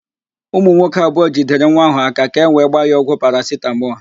Ụmụ nwoke abụọ jidere nwa ahụ áká ka ewee gbaa ya ọgwụ parasitamọl.